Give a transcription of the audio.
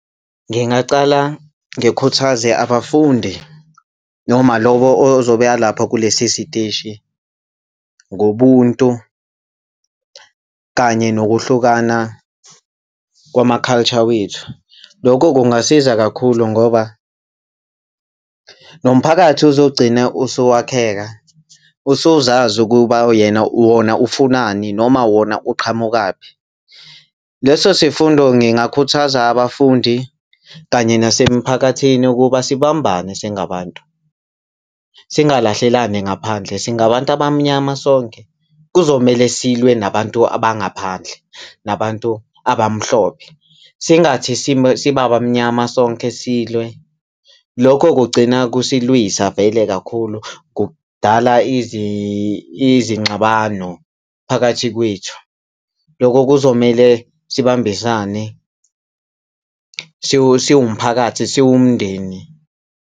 Ngingaqala ngikhuthaze abafundi noma lowo ozobe alapho kulesi siteshi ngobuntu kanye nokuhlukana kwama-culture wethu, lokho kungasiza kakhulu ngoba nomphakathi uzogcina usuwakheka, usuzazi ukuba wona ufunani noma wona uqhamukaphi. Leso sifundo ngingakhuthaza abafundi kanye nasemphakathini ukuba sibambane singabantu, singalahlelani ngaphandle, singabantu abamnyama sonke. Kuzomele silwe nabantu abangaphandle nabantu abamhlophe, singathi sibamnyama sonke silwe, lokho kugcina kusilwisa vele kakhulu, kudala izingxabano phakathi kwethu, loko kuzomele sibambisane siwumphakathi, siwumndeni.